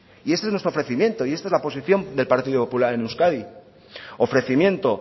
y este es nuestro ofrecimiento y esta es la posición del partido popular en euskadi ofrecimiento